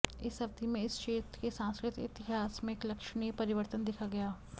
इस अवधि में इस क्षेत्र के सांस्कृतिक इतिहास में एक लक्षणीय परिवर्तन देखा गया